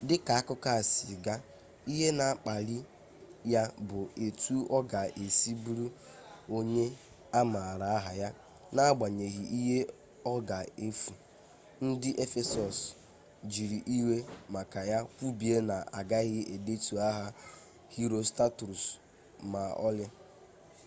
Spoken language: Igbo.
dịka akụkọ a si gaa ihe na-akpali ya bụ etu ọ ga-esi bụrụ onye a maara aha ya n'agbanyeghi ihe ọ ga-efu ndị efesọs jiiri iwe maka ya kwubie na agaghị edetu aha herostratus ma ọlị